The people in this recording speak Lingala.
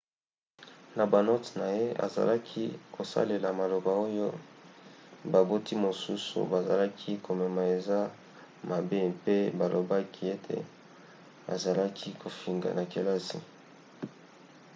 na banote na ye azalaki kosalela maloba oyo baboti mosusu bazalaki komona eza mabe mpe balobaki ete azalaki kofinga na kelasi